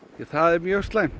það er mjög slæmt